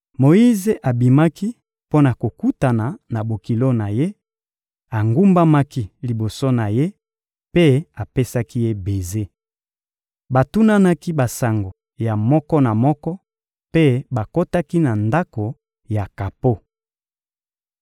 Moyize abimaki mpo na kokutana na bokilo na ye; agumbamaki liboso na ye mpe apesaki ye beze. Batunanaki basango ya moko na moko mpe bakotaki na ndako ya kapo.